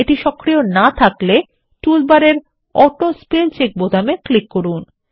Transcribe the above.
এটি সক্রিয় না থাকলে তাহলে টুলবারে অটো স্পেল চেক বোতামে ক্লিক করুন